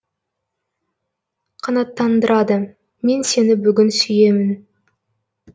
қанаттандырады мен сені бүгін сүйемін